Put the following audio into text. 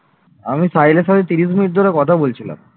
আমি সাহিলের সঙ্গে ত্রিশ মিনিট ধরে কথা বলছিলাম